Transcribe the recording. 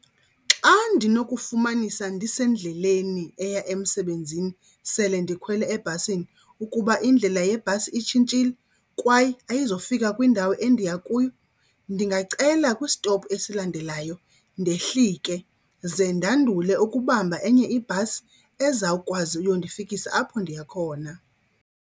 Xa ndinokufumanisa ndisendleleni eya emsebenzini sele ndikhwele ebhasini ukuba indlela yebhasi itshintshile kwaye ayizofika kwindawo endiya kuyo, ndingacela kwisitophu esilandelayo ndehlike. Ze ndandule ukubamba enye ibhasi ezawukwazi uyondifikisa apho ndiya khona.